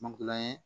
Magilan ye